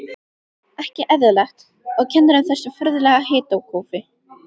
Ekki eðlilegt, og kennir um þessu furðulega hitakófi.